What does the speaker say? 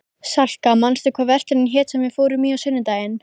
Salka, manstu hvað verslunin hét sem við fórum í á sunnudaginn?